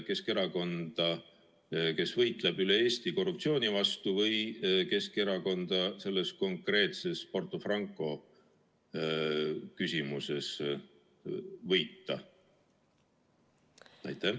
Kas ta tahab aidata Keskerakonda, kes võitleb üle Eesti korruptsiooni vastu, või tahab aidata Keskerakonnal selles konkreetses Porto Franco küsimuses võita?